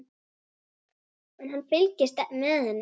En hann fylgist með henni.